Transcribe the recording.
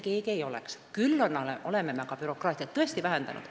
Bürokraatiat oleme aga tõesti vähendanud.